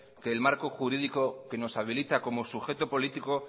que el marco jurídico que nos habilita como sujeto político